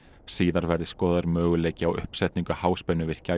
síðar verði skoðaður möguleiki á uppsetningu háspennuvirkja í